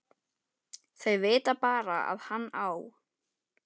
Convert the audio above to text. Þau vita bara að hann á